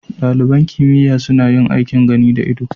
Ɗaliban kimiyya suna yin aikin gani da ido